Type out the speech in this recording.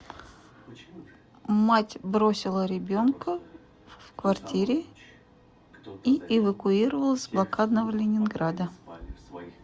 мать бросила ребенка в квартире и эвакуировалась с блокадного ленинграда